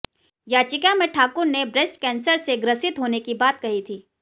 याचिका में ठाकुर ने ब्रेस्ट कैंसर से ग्रसित होने की बात कही थी